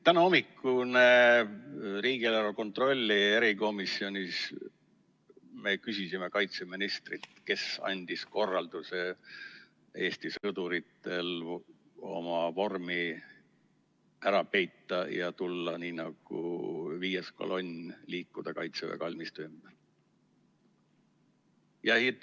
Täna hommikul riigieelarve kontrolli erikomisjonis me küsisime kaitseministrilt, et kes andis korralduse Eesti sõduritel oma vorm ära peita ja liikuda nii nagu viies kolonn Kaitseväe kalmistu ümber.